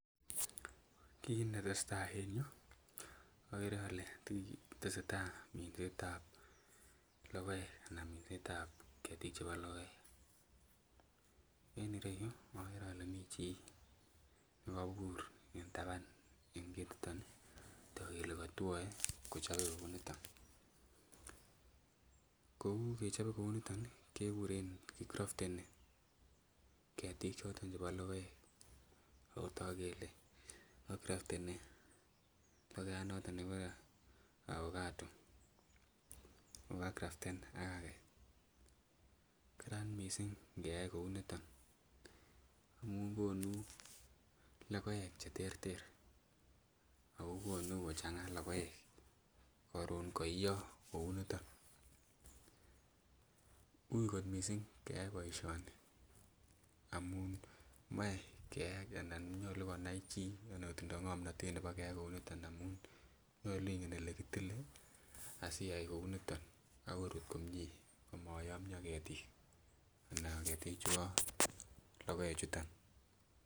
kiiit netesetai en yuu ogeree olee tesetai minseet ab logoek anan mineet ab ketiik chebo logoek, en ireyuu ogere ole mii chi negobuur en taban en ketiton iih togu kole kotwoe kochobe kouu niton, kouu kechobe kouu niton iih keguren kicrofteni ketik choton chebo logoek ooh togu kele kicrofteni logoiyaat noton negiboree afagado ago kacraften ak agee, karaan mising ngeyaai kouu niton amun konu logoeek cheterter ago konuu kochanga logoek karoon koiiyoo kouu niton, uui kot mising keyaai boisyooni amun moee keyaai anan nyoluu konain chii nyolu kotindoo ngomnotet nebo keyaai kouu niton omuun nyoluu ingen olegitile asiyaai kouu niton ak koruut komyee komoyomyoo ketik anan ketik chebo logoek chuton